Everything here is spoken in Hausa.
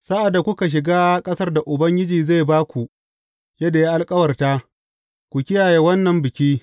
Sa’ad da kuka shiga ƙasar da Ubangiji zai ba ku yadda ya alkawarta, ku kiyaye wannan biki.